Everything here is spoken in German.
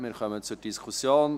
Wir kommen zur Diskussion.